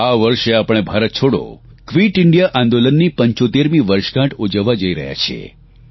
આ વર્ષે આપણે ભારત છોડો ક્વીટ ઇન્ડિયા આંદોલનતી 75મી વર્ષગાંઠ ઉજવવા જઇ રહ્યા છીએ